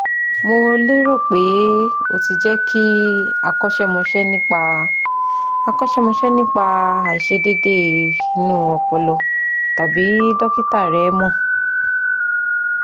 Mo lérò pé o ti jẹ́ kí akọ́ṣẹ́mọṣẹ́ nípa akọ́ṣẹ́mọṣẹ́ nípa àìṣedéédé inú ọpọlọ tàbí dọ́kítà rẹ mọ̀